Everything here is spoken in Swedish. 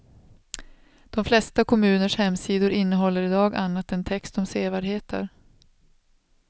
De flesta kommuners hemsidor innehåller i dag annat än text om sevärdheter.